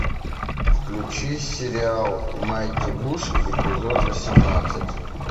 включи сериал майти буш эпизод восемнадцать